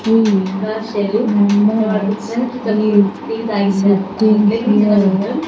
we keep visiting here.